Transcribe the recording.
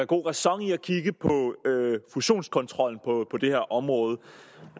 god ræson i at kigge på fusionskontrollen på det her område